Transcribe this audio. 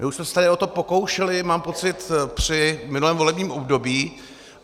My už jsme se tady o to pokoušeli, mám pocit, při minulém volebním období.